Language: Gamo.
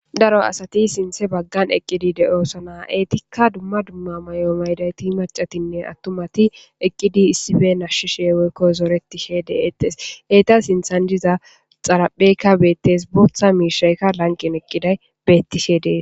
daro asati sinthe baggan eqqidi de7oosona eetikka dumma dumma mayo maydayti macatinne attumati eqqidi issife nashshishe woykko zoretishe deetes heyta sinthan diza xarapheykka beettes booththa miishaykka lanqin eqqiday bettishe dees